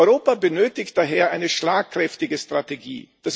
Europa benötigt daher eine schlagkräftige Strategie.